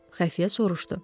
Xəfiyyə soruşdu.